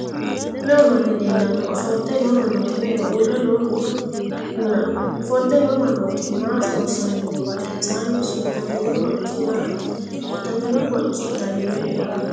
Meu manni leellano? Ofolte noo mannooti me"eho? Uurre noohuna? Ofolte noo mannooti ma loossanni no? Badhensaanni sutamino hocci maati? Sutamino hocci dani me"eho?